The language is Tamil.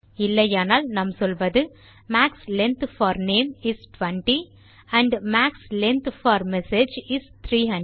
இல்லையானால் நாம் சொல்வது max length for name is 20 and max length for message is 300